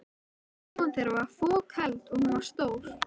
Íbúðin þeirra var fokheld, og hún var stór.